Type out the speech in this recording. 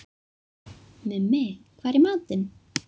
Mummi, hvað er í matinn?